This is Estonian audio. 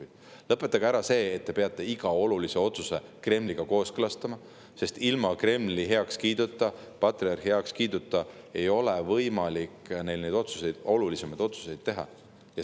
Et nad lõpetaksid ära selle, et nad peavad iga olulise otsuse Kremliga kooskõlastama, sest ilma Kremli heakskiiduta, patriarhi heakskiiduta ei ole neil võimalik olulisi otsuseid teha.